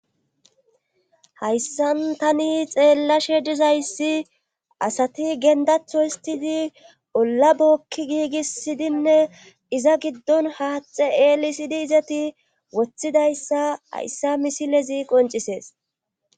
hayssan tani xeellashe dizayssi asati gendatho histidi olla bokki giigisidinne iza giddon haaxe elisidi izati woththidayssa hayssa misilezi qoncisees